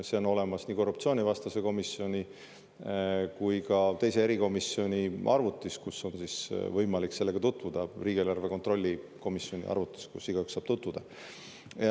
See on olemas nii korruptsioonivastase erikomisjoni kui ka teise erikomisjoni, riigieelarve kontrolli erikomisjoni arvutis, kus on võimalik sellega tutvuda, kus igaüks saab tutvuda.